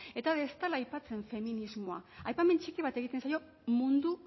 eta ez dela aipatzen feminismoa aipamen txiki bat egiten zaio mundu